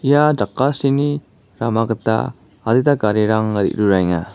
ia jakasini rama gita adita garirang re·ruraenga.